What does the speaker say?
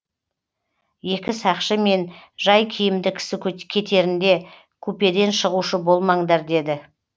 екі сақшы мен жай киімді кісі кетерінде купеден шығушы болмаңдар деді